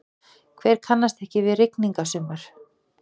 Hver kannast ekki við rigningasumur?